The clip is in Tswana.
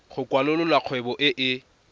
go kwalolola kgwebo e e